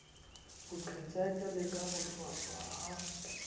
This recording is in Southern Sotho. boqhetseke le ka bohlwahlwa ha